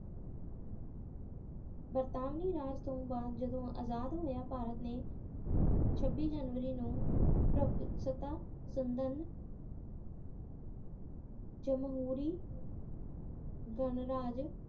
ਬਰਤਾਨਵੀ ਰਾਜ ਤੋਂ ਬਾਅਦ ਜਦੋਂ ਅਜਾਦ ਹੋਇਆ ਭਾਰਤ ਨੇ ਛੱਬੀ ਜਨਵਰੀ ਨੂੰ ਸੱਤਾ ਸੰਬੰਧ ਜਮਹੂਰੀ ਗਣਰਾਜ